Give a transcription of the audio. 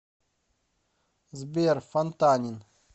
сбер фантанин